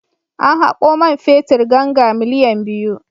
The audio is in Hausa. An haƙo man fetur ganga miliyan biyu.